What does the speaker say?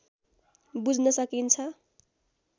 बुझ्न सकिन्छ